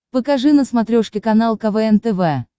покажи на смотрешке канал квн тв